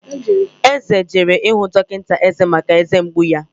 Eze jere ịhụ dọkịta eze maka eze mgbu ya